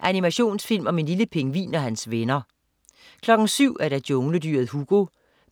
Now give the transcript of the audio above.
Animationsfilm om en lille pingvin og hans venner 07.00 Jungledyret Hugo,